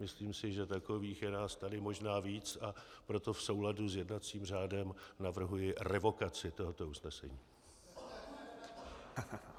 Myslím si, že takových je nás tady možná víc, a proto v souladu s jednacím řádem navrhuji revokaci tohoto usnesení.